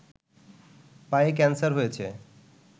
পায়ে ক্যানসার হয়েছে